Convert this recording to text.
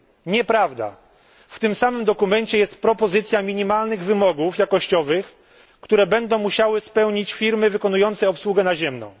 Nieprawda w tym samym dokumencie jest propozycja minimalnych wymogów jakościowych, które będą musiały spełnić firmy wykonujące obsługę naziemną.